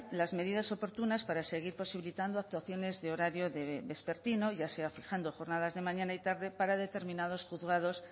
las medidas oportunas para seguir posibilitando actuaciones de horario vespertino ya sea fijando jornadas de mañana y tarde para determinados juzgados